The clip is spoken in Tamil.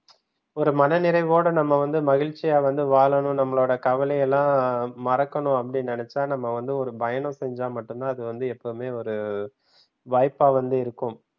ஒரு மனநிறைவோடு நம்ம வந்து மகிழ்ச்சியா வந்து வாழனும் நம்மளோட கவலை எல்லாம் மறக்கணும் அப்டி நினைச்சா நம்ம வந்து ஒரு பயணம் செஞ்சா மட்டும்தான் அது வந்து எப்பவுமே ஒரு வாய்ப்பா வந்து இருக்கும்.